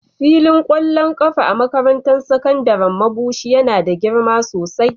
Filin kwallon kafa a makarantar sakandaren Mabushi yana da girma sosai.